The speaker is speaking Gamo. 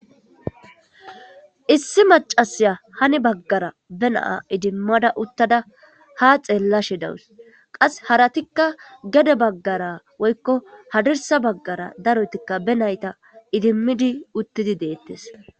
Issi macasya hani baggara be naa idimmada uttada ha xeellashe dawus qas haratikka gede baggara woykko hadirsa baggara darotikka be nayta idimmidi uttidi deettes.